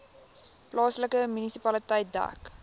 plaaslike munisipaliteit dek